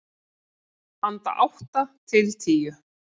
Handa átta til tíu